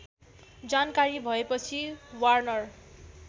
जानकारी भएपछि वार्नर